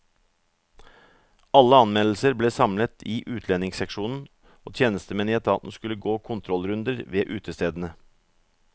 Alle anmeldelser ble samlet i utlendingsseksjonen, og tjenestemenn i etaten skulle gå kontrollrunder ved utestedene.